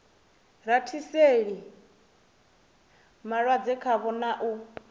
rathiseli malwadze khavho na u